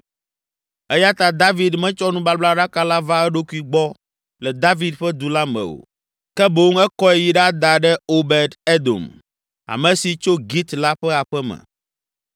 Eya ta David metsɔ nubablaɖaka la va eɖokui gbɔ le David ƒe Du la me o, ke boŋ ekɔe yi ɖada ɖe Obed Edom, ame si tso Git la ƒe aƒe me.